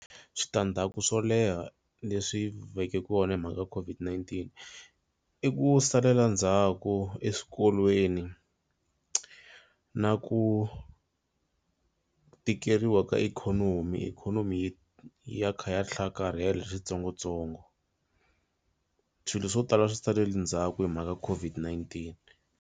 Switandzhaku swo leha leswi veke kona hi mhaka COVID-19 i ku salela ndzhaku eswikolweni na ku tikeriwa ka ikhonomi. Ikhonomi yi ya kha ya hlakarhela hi switsongotsongo swilo swo tala swi saleli ndzhaku hi mhaka COVID-19.